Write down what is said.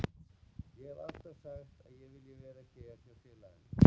Ég hef alltaf sagt að ég vil vera hér hjá félaginu.